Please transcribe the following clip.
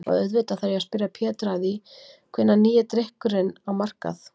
Og auðvitað þarf ég að spyrja Pétur að því hvenær kemur nýi drykkurinn á markað?